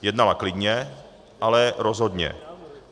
Jednala klidně, ale rozhodně.